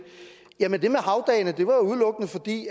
jamen det med havdagene var udelukkende fordi